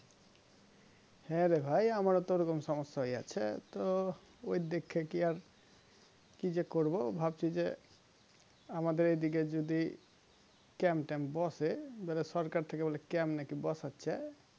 হ্যাঁ রে ভাই আমার তো ওরকম সমস্যা হয়ে আছে তো ওই দেখে কি আর কি যে করবো ভাবছি যে আমাদের এই দিকে যদি camp ট্যাম্প বসে সরকার থেকে বলে camp নাকি বসাচ্ছে